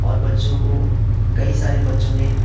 और बच्चों को कई सारे बच्चों ने--